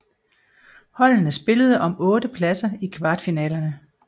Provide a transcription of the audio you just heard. Holdene spillede om otte pladser i kvartfinalerne